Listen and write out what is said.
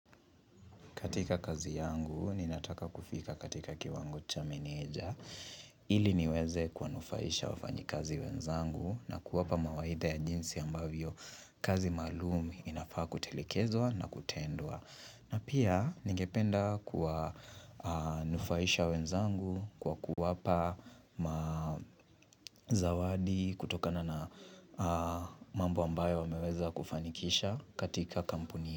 Katika kazi yangu, ninataka kufika katika kiwango cha meneja, ili niweze kuwanufaisha wafanyikazi wenzangu na kuwapa mawaidha ya jinsi ambavyo kazi maalum inafaa kutelekezwa na kutendwa. Na pia, ningependa kuwanufaisha wenzangu kwa kuwapa ma zawadi kutokana na mambo ambayo wameweza kufanikisha katika kampuni.